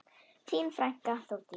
Þín frænka, Þórdís.